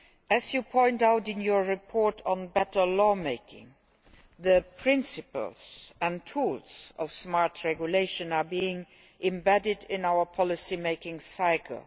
As you point out in your report on better lawmaking, the principles and tools of smart regulation are being embedded in our policy making cycle.